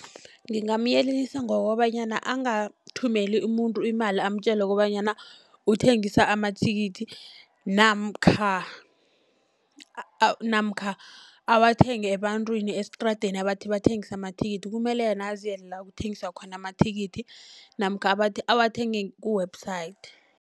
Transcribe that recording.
Ngingamyelelisa ngokobanyana angathumeli umuntu imali, amtjele kobanyana uthengisa amathikithi, namkha namkha awathenge ebantwini estradeni abathi bathengisa amathikithi. Kumele yena aziyele la kuthengiswa khona amathikithi namkha awathenge ku-website.